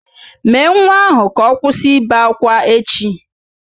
Mèé nwa ahụ ka ọ kwụsị ibe ákwá echi!